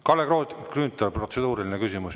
Kalle Grünthal, protseduuriline küsimus.